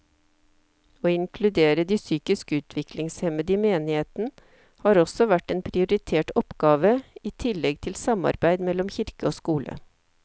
Å inkludere de psykisk utviklingshemmede i menigheten har også vært en prioritert oppgave i tillegg til samarbeid mellom kirke og skole.